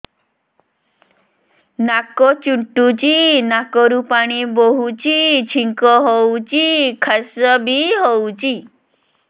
ନାକ ଚୁଣ୍ଟୁଚି ନାକରୁ ପାଣି ବହୁଛି ଛିଙ୍କ ହଉଚି ଖାସ ବି ହଉଚି